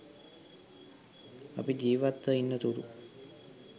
අපි ජීවත්ව ඉන්න තුරු